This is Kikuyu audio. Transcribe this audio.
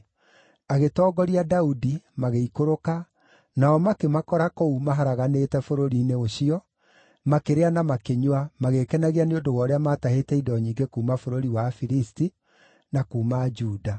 Agĩtongoria Daudi, magĩikũrũka, nao makĩmakora kũu, maharaganĩte bũrũri-inĩ ũcio, makĩrĩa na makĩnyua, magĩĩkenagia nĩ ũndũ wa ũrĩa maatahĩte indo nyingĩ kuuma bũrũri wa Afilisti, na kuuma Juda.